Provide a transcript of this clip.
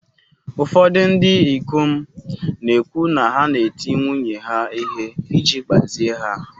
Ụfọdụ ndị ikom na-ekwu na ha na-eti nwunye ha ihe iji gbazie ha.